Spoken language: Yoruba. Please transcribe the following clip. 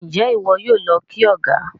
Njé iwọ yóò ló kí ọgá?